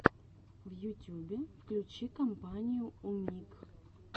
в ютюбе включи компанию умиг